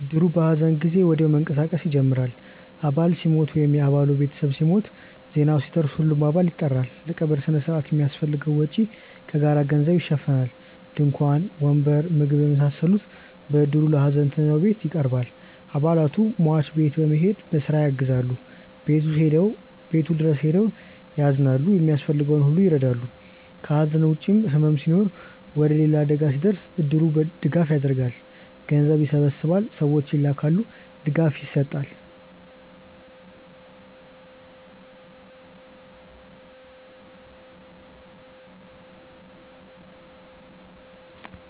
እድሩ በሐዘን ጊዜ ወዲያው መንቀሳቀስ ይጀምራል። አባል ሲሞት ወይም የ አባሉ ቤተሰብ ሲሞት፣ ዜናው ሲደርስ ሁሉም አባል ይጠራል። ለቀብር ሥነ ሥርዓቱ የሚያስፈልገውን ወጪ ከጋራ ገንዘብ ይሸፈናል። ድንኳን፣ ወንበር፣ ምግብ የመሳሰሉት በእድሩ ለሀዘንተኛው ቤት ይቀርባል። አባላቱ ሟች ቤት በመሄድ በስራ ያግዛሉ፣ ቤቱ ድረስ ሄደው ያዝናሉ፣ የሚያስፈልገውን ሁሉ ይረዳሉ። ከሐዘን ውጭም ሕመም ሲኖር ወይም ሌላ አደጋ ሲደርስ እድሩ ድጋፍ ያደርጋል። ገንዘብ ይሰበሰባል፣ ሰዎች ይላካሉ፣ ድጋፍ ይሰጣል።